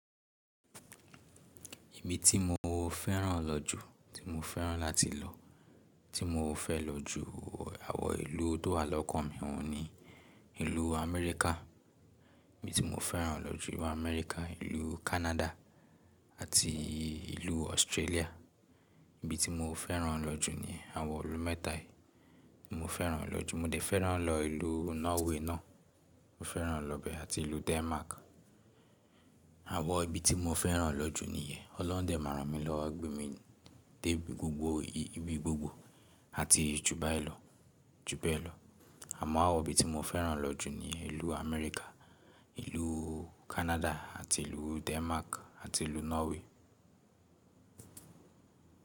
Ibi tí mo fẹ́ràn lọ jù, tí mo fẹ́ràn láti lọ, tí mo fẹ́ lọ ju, àwọn ìlú tó wà lọ́kàn mi, wọn ní ìlú Amẹ́ríkà. Ibi tí mo fẹ́ràn lọ jù ni ilu Amẹ́ríkà, ìlú Kánádà àti ìlú Australia. Ibi tí mo fẹ́ràn lọ jù niyen, àwọn ìlú mẹ́ta yìí, mo fẹ́ràn lọ jù. Mo dẹ̀ fẹ́ràn lọ ìlú Norway náà, mo fẹ́ràn lọ bẹ àti ìlú Denmark. Àwọn ibi tí mo fẹ́ràn lọ jù níyẹn. Olohun de máa rán mi lọwo, gbé mi, dé ibi gbogbo, ìgbì gbogbo àti ju bayi lo, ju bẹ́ẹ̀ lọ. Àmọ́ àwọn ibi tí mo fẹ́ràn lọ jù ni ìlú Amẹ́ríkà, ìlú Kánádà àti ìlú Denmark àti ìlú Norway.